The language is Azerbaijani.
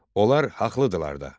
Onlar haqlıdırlar da.